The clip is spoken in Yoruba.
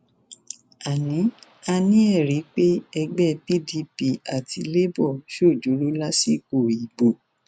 a ní a ní ẹrí pé ẹgbẹ pdp àti labour ṣòjóró lásìkò ìbò